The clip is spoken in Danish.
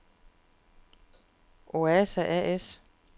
Oasa A/S